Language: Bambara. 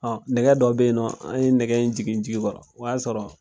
nɛgɛ dɔ be yennɔ, an ye nɛgɛ in jigin ji kɔrɔ. O y'a sɔrɔ